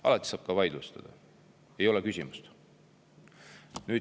Alati saab ka vaidlustada, ei ole küsimust.